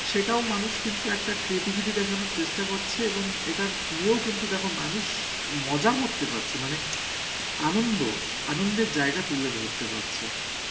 সেটাও মানুষ কিন্তু একটা creativity দেখানোর চেষ্টা করছে এবং এটার নিয়েও কিন্তু দেখো মানুষ মজা করতে পারছে মানে আনন্দ, আনন্দের জায়গা তুলে ধরতে পারছে.